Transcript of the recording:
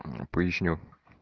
поясню